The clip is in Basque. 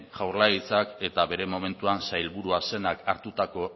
jaurlaritzak eta bere momentuan sailburu zenak hartutako